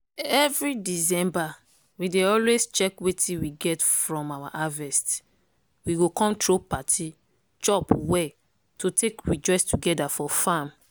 every december we dey always check wetin we get from our harvest. we go come throw party chop well to take rejoice togeda for farm.